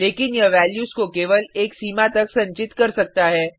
लेकिन यह वैल्यूज को केवल एक सीमा तक संचित कर सकता है